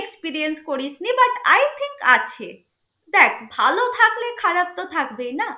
Experience করিসনি but i think আছে. দেখ ভাল থাকলে খারাপ তো থাকবেই না?